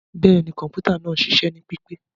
Bẹẹni, kọǹpútà naa ń ṣiṣẹ ni pipe.